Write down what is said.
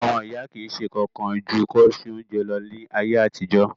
Àwon ìyá ki si sé kan kan ju kí won se ounje lo ni ayéàtijọ́